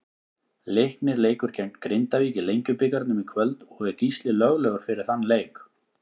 Leiknir leikur gegn Grindavík í Lengjubikarnum í kvöld og er Gísli löglegur fyrir þann leik.